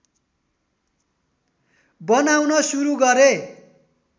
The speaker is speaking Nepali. बनाउन सुरु गरे